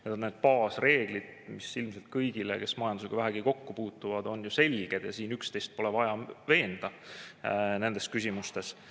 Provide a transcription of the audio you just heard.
Need on need baasreeglid, mis ilmselt kõigile, kes majandusega vähegi kokku puutuvad, on ju selged, siin pole vaja üksteist veenda nendes küsimustes.